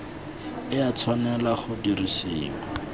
e a tshwanela go dirisiwa